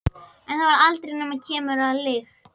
En það varð aldrei nema keimur af lykt.